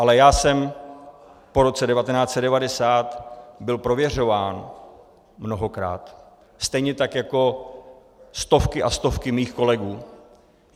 Ale já jsem po roce 1990 byl prověřován mnohokrát, stejně tak jako stovky a stovky mých kolegů.